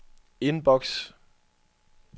inbox